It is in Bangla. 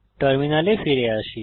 টার্মিনালে ফিরে আসি